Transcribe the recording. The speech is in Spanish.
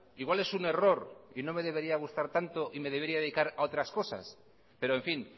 igual es un error y no me debería gustar tanto y me debería dedicar a otras cosas pero en fin